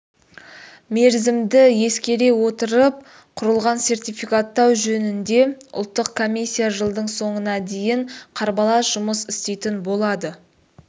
мерзімді ескере отырып құрылған сертификаттау жөнінде ұлттық комиссия жылдың соңына дейін қарбалас жұмыс істейтін болады